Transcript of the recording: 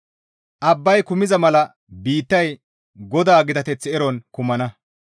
Abbay kumiza mala biittay GODAA gitateth eron kumana.